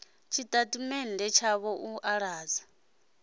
tshitatamennde tshavho u ḓo ḓadza